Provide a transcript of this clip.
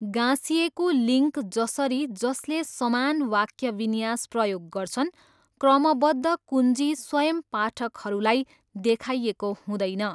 गाँसिएको लिङ्क जसरी जसले समान वाक्य विन्यास प्रयोग गर्छन्, क्रमबद्ध कुञ्जी स्वयं पाठकहरूलाई देखाइएको हुँदैन।